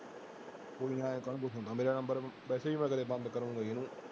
ਮੇਰਾ number ਵੈਸੇ ਵੀ ਮੈਂ ਕਦੇ ਬੰਦ ਉਹਨੂੰ